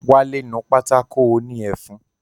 Wálé nu pátákó òní ẹfun